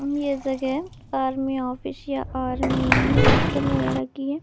अम्मी इस क्या है आर्मी ऑफिस या आर्मी हॉस्टल वगैरा की है।